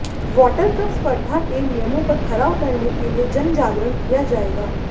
water cup स्पर्धा के नियमों पर खरा उतरने के लिए जनजागरण किया जाएगा